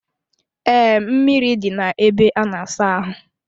Ee, mmiri dị na-ebe a na-asa ahụ.